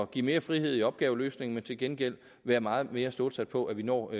give mere frihed i opgaveløsningen men til gengæld være meget mere stålsat på at vi når